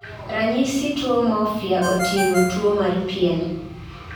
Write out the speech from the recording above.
ranyisi tuo morphea, oting'o: tuo mar pien